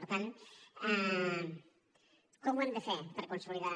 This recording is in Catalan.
per tant com ho hem de fer per consolidar